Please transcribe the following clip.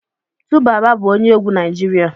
2baba bu onye egwu Naijiria